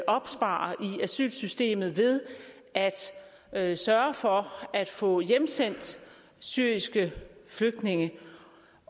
opspares i asylsystemet ved at sørge for at få hjemsendt syriske flygtninge